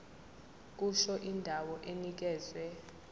kusho indawo enikezwe